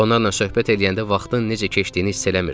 Onlarla söhbət eləyəndə vaxtın necə keçdiyini hiss eləmirdim.